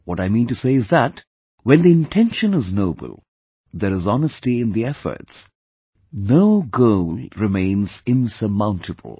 What I mean to say is that when the intention is noble, there is honesty in the efforts, no goal remains insurmountable